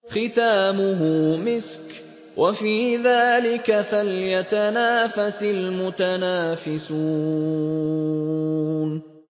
خِتَامُهُ مِسْكٌ ۚ وَفِي ذَٰلِكَ فَلْيَتَنَافَسِ الْمُتَنَافِسُونَ